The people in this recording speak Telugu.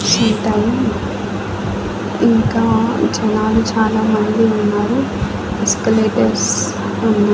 ఇంతం ఇంకా జనాలు చాలా మంది ఉన్నారు ఎస్కేలేటర్స్ ఉన్న--